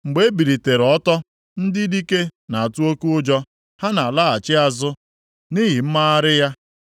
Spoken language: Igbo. Mgbe o bilitere ọtọ, ndị dike na-atụ oke ụjọ; ha na-alaghachi azụ nʼihi mmagharị ya.